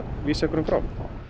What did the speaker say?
vísa einhverjum frá